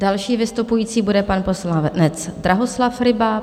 Další vystupující bude pan poslanec Drahoslav Ryba.